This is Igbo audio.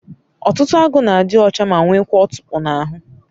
otutu agu na adi ocha ma nwekwa otupu n'ahu